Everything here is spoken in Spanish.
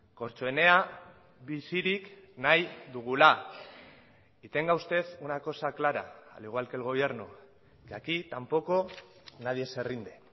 kortxoenea bizirik nahi dugula y tenga usted una cosa clara al igual que el gobierno que aquí tampoco nadie se rinde